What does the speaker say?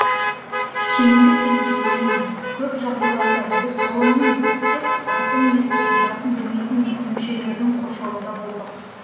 кейінгі кезге дейін көп жағдайларда біз ғылымның тек атын естіп затын білмейтін дүмшелердің қоршауында болдық